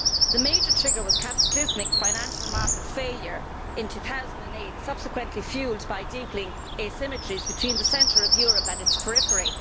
The major trigger was cataclysmic financial market failure in 2008, subsequently fuelled by deepening asymmetries between the centre of Europe and its periphery.